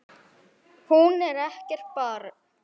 Hún er ekkert barn.